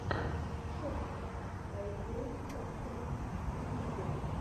шотник ай волд оф тэнкс в ютюбе